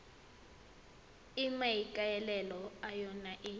e maikaelelo a yona e